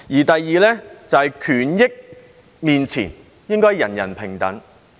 第二，在權益面前，應該人人平等。